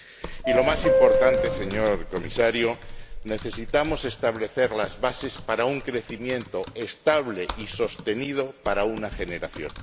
Y lo más importante, señor Comisario, necesitamos establecer las bases para un crecimiento estable y sostenido para una generación.